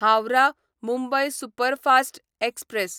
Howrah Mumbai superfast express